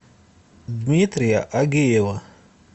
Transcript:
дмитрия агеева